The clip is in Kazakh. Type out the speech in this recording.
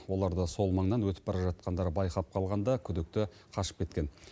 оларды сол маңнан өтіп бара жатқандар байқап қалғанда күдікті қашып кеткен